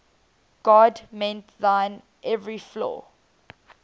god mend thine every flaw